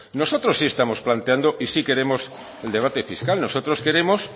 nosotros sí estamos planteando y sí queremos el debate fiscal nosotros queremos